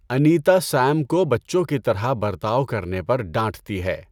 Anita Sam کو بچوں کی طرح برتاؤ کرنے پر ڈانٹتی ہے۔